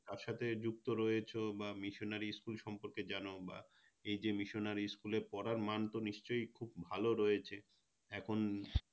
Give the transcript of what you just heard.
তার সাথে যুক্ত রয়েছো বা Missionary School সম্পর্কে জানো বা এই যে Missionary School এ পড়ার মানতো নিশ্চই খুব ভালো রয়েছে এখন